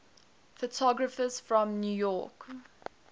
photographers from new york